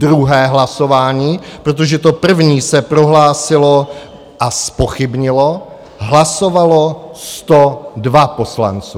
Druhé hlasování, protože to první se prohlásilo a zpochybnilo, hlasovalo 102 poslanců.